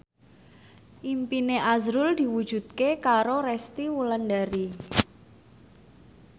impine azrul diwujudke karo Resty Wulandari